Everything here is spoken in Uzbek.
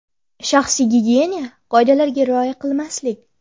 Shaxsiy gigiyena qoidalariga rioya qilmaslik .